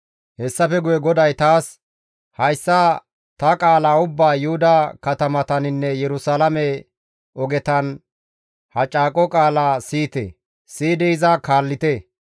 Hessafe guye GODAY taas, «Hayssa ta qaala ubbaa Yuhuda katamataninne Yerusalaame ogetan, ‹Ha caaqo qaala siyite; siyidi iza kaallite.